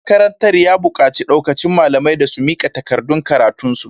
Shugaban makarantar ya bukaci daukacin malamai da su mika takardun karatunsu.